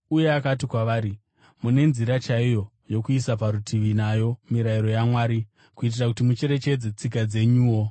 Uye akati kwavari, “Mune nzira chaiyo yokuisa parutivi nayo mirayiro yaMwari kuitira kuti mucherechedze tsika dzenyuwo!